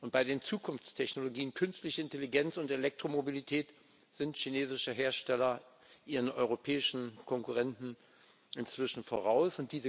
Bei den Zukunftstechnologien Künstliche Intelligenz und Elektromobilität sind chinesische Hersteller ihren europäischen Konkurrenten inzwischen voraus.